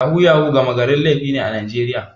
Yahu-yahu gama garin laifi ne a Najeriya.